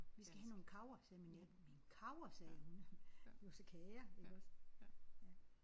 Ja. Vi skal have nogle kager sagde min nabo. Men kager sagde hun det var så kager iggås ja